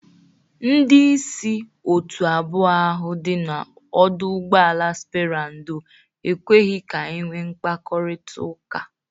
Ndị isi otu abụọ ahụ dị n'ọdụ ụgbọala spera ndo ekweghi ka enwe mkpakọrịtaụka.